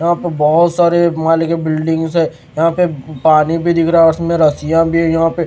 यहाँ पे बहुत सारे माले के बिल्डिंग्स है यहाँ पे पानी भी दिख रहा है और उसमें रस्सियाँ भी यहाँ पे --